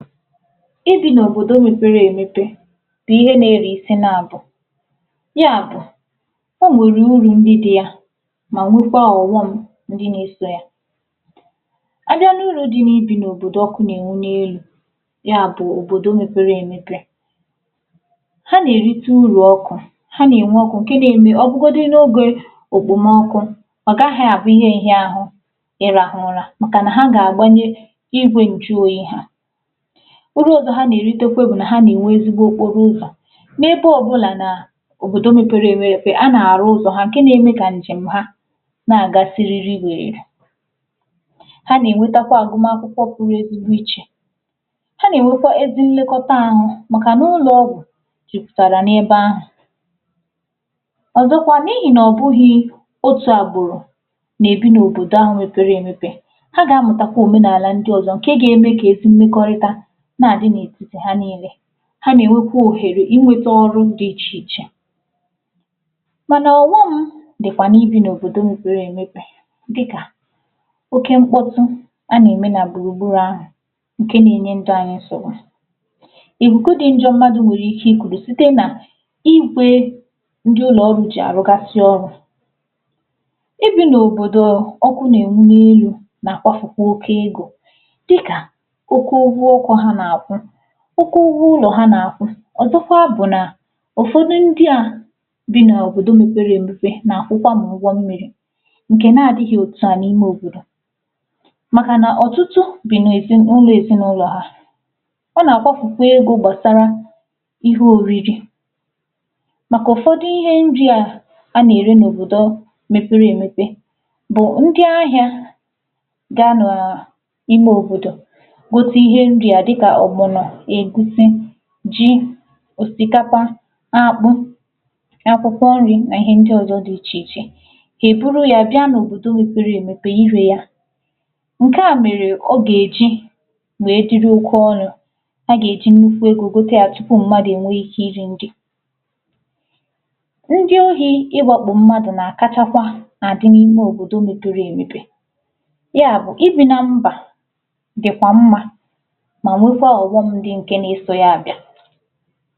Ibi n’òbodò mepere emepe bụ̀ ihe na-ere isi naabọ̀ ya bụ̀ o nwere uru ndị dị yà ma nwekwà ọghọ̀ ndị na-eso yà a bịà n’uru dị ibi n’òbodò ọkụ na-enwu n’elu ya bụ òbodò mepere emepe ha na-erite uru ọkụ̀ ha na-enwe ọkụ nke na-eme ọ bụgodu n’oge okpomoọkụ ọ gaghị̀ abụ̀ ihe nhịahụ̀ ịrahụ̀ ụrà makà na ha ga-agbanye igwe nju oyii ha uru ọzọ̀ ha na-enwetekwà bụ̀ na ha na-enwe ezigbo okporo ụzọ̀ na-ebe ọbụlà na òbodò mepere emepe, a na-arụ̀ ụzọ̀ ha nke na-eme ka njem ha na-agà sịrịrị wererè ha na-enwetakwà agụmà akwụkwọ pụrụ ezigbo ichè ha na-enwekwà ezi nlekotà ahụ makà n’ụlọ ọgwụ̀ juputarà n’ebe ahụ ọzọkwà n’ihi na ọ bụghì otù agbụrụ̀ na-ebi n’ òbodò ahụ mepere emepe ha ga-amụtakwà omenalà ndị ọzọ̀ nke ga-eme ka ezi mmekorità na-adị̀n’etiti ha niile ha na-enwekwà ohere inwetà ọrụ dị iche ichè manà ọghọm dịkwà na ibi n’ òbodò mepere emepe dịkà oke nkpọtụ̀ a na-eme na gburugburu ahụ nke na-enye ndụ anyị nsogbu ikuku dị njọ̀ mmadụ̀ nwere ike ikuru sitē na igwe ndị ụlọ ọrụ̀ jị arụgasị̀ ọrụ̀ ibi n’òbodò ọkụ na-enwu n’elu na-akwafukwà oke egō dịkà oke ụgwọ̀ ọkụ ha na-akwụ̀ oke ụgwọ ụlọ̀ ha na-akwụ̀ ọzọkwà bụ nà ụfọdụ̀ ndị à bi n’òbodò mepere emepe na-akwụkwà ụgwọ̀ mmiri nke na-adịghị̀ otù ahụ n’ime òbodò makà na ọtụtụ bi n’ezi, n’ụlọ̀ ezinaụlọ̀ ha a na-akwafukwà egō gbasara ihe oriri makà ụfọdụ̀ ihe ndị à a na-eri n’òbodò mepere emepe bụ̀ ndị̀ ahịà ga-anọọ ime òbodò gote ihe ndị à dịkà ọgbọnọ̀ egwusi ji osikapa akpụ, akwụkwọ̀ nri na ihe ndị ọzọ̀ dị̀ iche ichè ha eburu ya bịà n’òbodò mepere emepe bià ire yà nke à mere ọ ga-eji nee diri oke ọnụ̀ ha ga-eji nnukwu egō gote ya tupu mmadụ̀ enwe ike iri nri ndị ohi iwakpu mmadụ̀ na-akachakwà a dị n’ime òbodò mepere emepe ya bụ̀ ibi na mba dịkwà mma ma nwekwà ọghọm ndị nke na-eso ya abịà